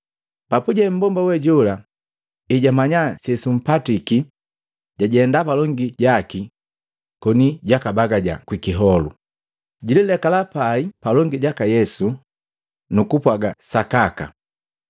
Papuje mbomba we jola, ejamanya sesumpatiki, jajenda palongi jaki koni jakabagaja kwi kiholu, jililekala pai palongi jaka Yesu nukupwaga sakaka.